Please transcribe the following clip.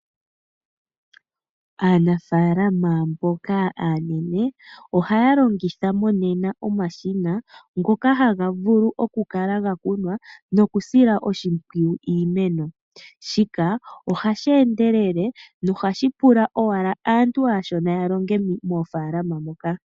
Aanafaalama mboka aanene ohaya longitha monena omashina ngoka haga vulu okukala gakunwa nokusila oshimpwiyu iimeno . Shika ohashi endelele nohashi pula owala aantu aashona yalonge moofaalama ndhoka.